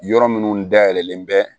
Yɔrɔ minnu dayɛlɛlen bɛ